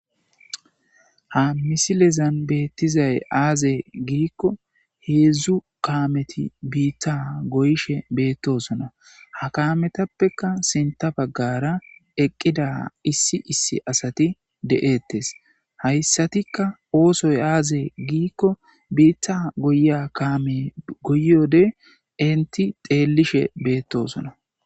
Ha misilezan beettizay aaze giikko heedzdzu kaameti biitta goyshe beettosona ha kametappeka sinta baggara eqqida issi issi asati de'eettes hayssatikka oosoy aaze giikko biitta goya kaame goyode inti xeellishe beettosona.